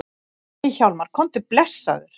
Nei Hjálmar, komdu blessaður!